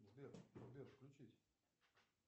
сбер сбер включись